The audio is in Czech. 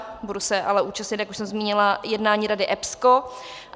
Budu se ale účastnit, jak už jsem zmínila, jednání Rady EPSCO.